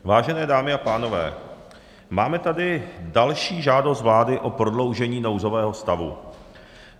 Vážené dámy a pánové, máme tady další žádost vlády o prodloužení nouzového stavu.